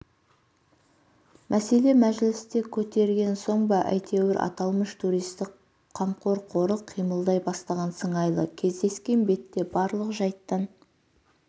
мәселе мәжілісте көтерген соңба әйтеуір аталмыш туристік қамқор қоры қимылдай бастаған сыңайлы кездескен бетте барлық жайттан